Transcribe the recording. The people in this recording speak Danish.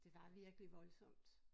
Det var virkelig voldsomt